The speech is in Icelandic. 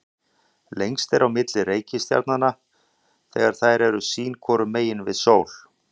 lengst er á milli reikistjarnanna þegar þær eru sín hvoru megin við sól